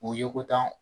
U ye ko tan